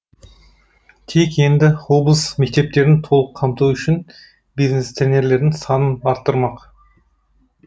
тек енді облыс мектептерін толық қамту үшін бизнес тренерлердің санын арттырмақ